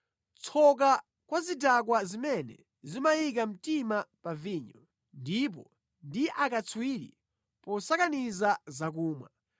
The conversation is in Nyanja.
Tsoka kwa zidakwa zimene zimayika mtima pa vinyo ndipo ndi akatswiri posakaniza zakumwa,